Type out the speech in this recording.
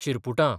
चिरपुटां